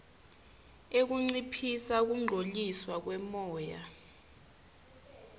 ekunciphisa kungcoliswa kwemoya